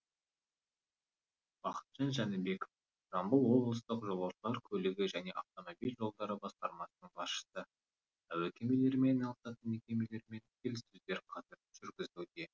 бақытжан жәнібеков жамбыл облыстық жолаушылар көлігі және автомобиль жолдары басқармасының басшысы әуе кемелерімен айналысатын мекемелермен келіссөздер қазір жүргізілуде